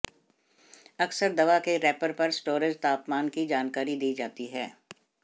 अक्सर दवा के रैपर पर स्टोरेज तापमान की जानकारी दी जाती है